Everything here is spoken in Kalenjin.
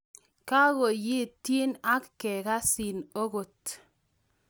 kegonyitin ak kegasin agot